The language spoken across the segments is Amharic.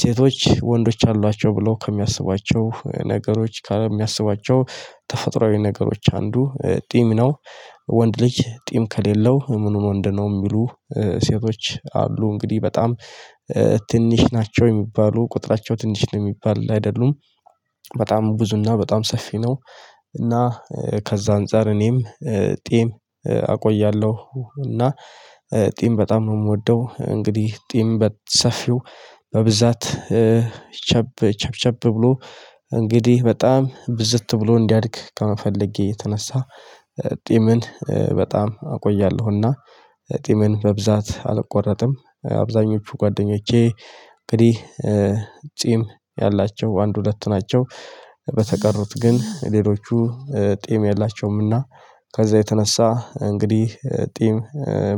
ሴቶች ወንዶች አሏቸው ብለው ከሚያስባቸው ነገሮች ከየሚያስባቸው ተፈጥሮአዊ ነገሮች አንዱ ጢም ነው። ወንድ ልጅ ጢም ከሌለው ምኑን ወንድ ነው የሚሉ ሴቶች አሉ እንግዲህ በጣም ትንሽ ናቸው የሚባሉ ቁጥራቸው ትንሽ ነው የሚባል አይደሉም። በጣም ብዙና በጣም ሰፊ ነው። እና ከዛ አንፃር እኔም ጢም አቆያለሁ እና ጢም በጣም ነው የምወደው። እንግዲህ ጢም በሰፊው በብዛት ቸብ ቸብቸብ ብሎ እንግዲህ በጣም ብዝት ብሎ እንዲያድግ ከመፈለጌ የተነሳ ጢምን በጣም አቆያለሁና። ጢምን በብዛት አልቆረጥም አብዛኞቹ ጓደኞቼ እንግዲህ ጢም ያላቸው አንድ ሁለት ናቸው በተቀሩት ግን ሌሎቹ ጤም የላቸውምና። ከዛ የተነሳ እንግዲህ ጢም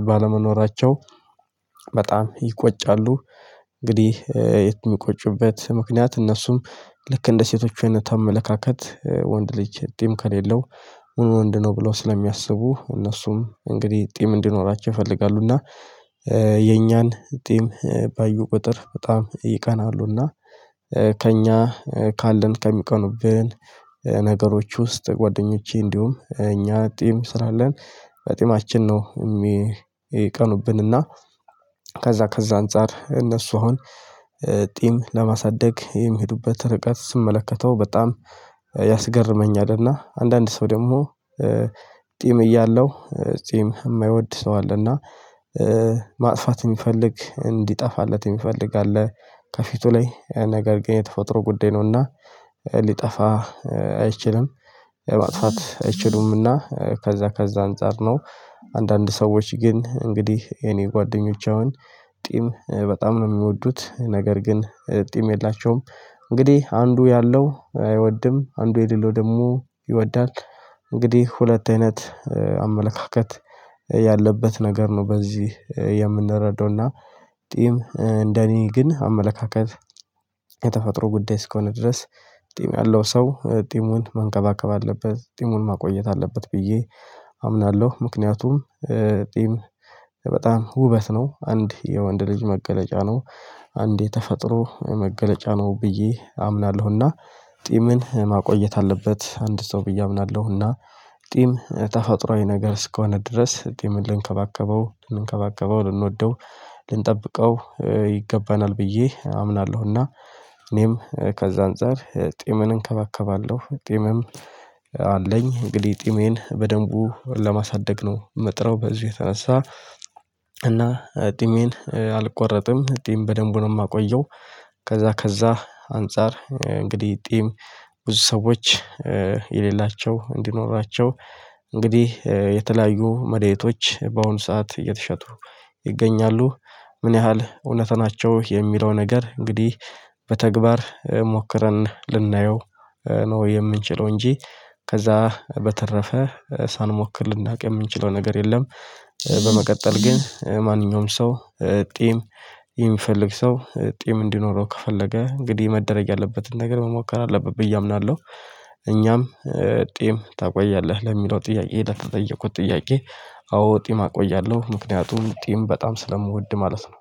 ባለመኖራቸው በጣም ይቆጫሉ። እንግዲህ የት የሚቆጭበት ምክንያት እነሱም ልክ እንደ ሴቶቹ አይነት አመለካከት ወንድ ልጅ ጢም ከሌለው ምን ወንድ ነው ብለው ስለሚያስቡ እነሱም እንግዲህ ጢም እንዲኖራቸው ይፈልጋሉና እና። የኛን ጢም ባዩ ቁጥር በጣም ይቀናሉ እና ከእኛ ካለን ከሚቀኑብን ነገሮች ውስጥ ጓደኞቼ እንዲሁም እኛ ጢም ስላለን በጢማችን ነው የሚቀኑብንና። ከዛ ከዛ አንፃር እነሱ አሁን ጢም ለማሳደግ የሚሄዱበት ርቀት ስመለከተው በጣም ያስገርመኛልና እና አንዳንድ ሰው ደግሞ ጢም እያለው ጢም የማይወድ ሰው አለ እና። ማጥፋት የሚፈልግ እንዲጠፋለት የሚፈልግ አለ ከፊቱ ላይ ነገር ግን የተፈጥሮ ጉዳይ ነውና ሊጠፋ አይችልም። ማጥፋት አይችሉምና ከዛ ከዛ አንፃር ነው። አንዳንድ ሰዎች ግን እንግዲህ የኔ ጓደኞች አሁን ጢም በጣም ነው የሚወዱት ነገር ግን ጢም የላቸውም። እንግዲህ አንዱ ያለው አይወድም አንዱ የሌለው ደግሞ ይወዳል። እንግዲህ ሁለት አይነት አመለካከት ያለበት ነገር ነው በዚህ የምንረዳው እና። ጢም እንደኔ ግን አመለካከት የተፈጥሮ ጉዳይ እስከሆነ ድረስ ጢም ያለው ሰው ጢሙን መንከባከብ አለበት ጢሙን ማቆየት አለበት ብዬ አምናለሁ። ምክንያቱም ጢም በጣም ውበት ነው አንድ የወንድ ልጅ መገለጫ ነው አንዴ ተፈጥሮ መገለጫ ነው ብዬ አምናለሁና። ጢምን ማቆየት አለበት አንድ ሰው ብዬ አምናለሁና። ጢም ተፈጥሮአዊ ነገር እስከሆነ ድረስ ጢምን ልንከባከበው ልንከባከበው ልንወደው ልንጠብቀው ይገባናል ብዬ አምናለሁና። እኔም ከዛ አንፃር ጢምን እንከባከባለሁ ጢምም አለኝ እንግዲህ ጢሜን በደንቡ ለማሳደግ ነው የምጥረው በዚህ የተነሳ እና ጢሜን አልቆረጥም ጢም በደንቡ ነው የማቆየው። ከዛ ከዛ አንፃር እንግዲህ ጢም ብዙ ሰዎች የሌላቸው እንዲኖራቸው እንግዲህ የተለያዩ መዳኒቶች በአሁኑ ሰዓት እየተሸጡ ይገኛሉ። ምን ያህል እውነት ናቸው የሚለው ነገር እንግዲህ በተግባር ሞክረን ልናየው ነው የምንችለው እንጂ ከዛ በተረፈ ሳንሞክር ልናውቅ የምንችለው ነገር የለም። በመቀጠል ግን ማንኛውም ሰው ጢም የሚፈልግ ሰው ጢም እንዲኖረው ከፈለገ እንግዲህ መደረግ ያለበትን ነገር መሞከር አለበት ብዬ አምናለሁ። እኛም ጢም ታቆያለህ ለሚለው ጥያቄ ለተጠየቁት ጥያቄ። አዎ ጢም አቆያለሁ ምክንያቱም ጢም በጣም ስለምወድ ማለት ነው